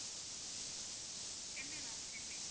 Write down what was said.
Chennai ma'am Chennai